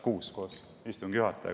Kuus koos istungi juhatajaga.